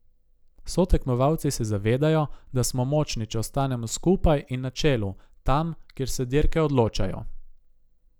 Sotekmovalci se zavedajo, da smo močni, če ostanemo skupaj in na čelu, tam, kjer se dirke odločajo.